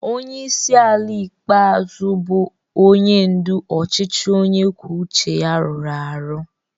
Onye isi ala ikpeazụ bụ onye ndu ọchịchị onye kwuo uche ya rụrụ arụ